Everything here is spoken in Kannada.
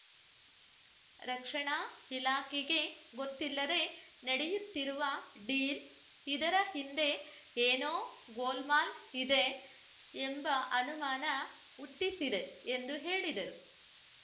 ರಕ್ಷಣಾ ಇಲಾಖೆಗೇ ಗೊತ್ತಿಲ್ಲದೆ ನಡೆಯುತ್ತಿರುವ ಡೀಲ್‌ ಇದರ ಹಿಂದೆ ಏನೋ ಗೋಲ್‌ ಮಾಲ್‌ ಇದೆಯೆಂಬ ಅನುಮಾನ ಹುಟ್ಟಿಸಿದೆ ಎಂದು ಹೇಳಿದರು